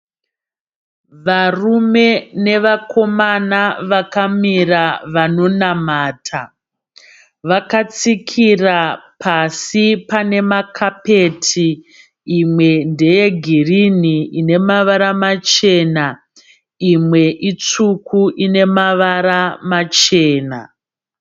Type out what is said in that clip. Varume nevakomana vakamira vanonamata. Vakatsikira pasi pane makapeti. Imwe ndeyegirini ine mavara machena. Imwe itsvuku ine mavara machena.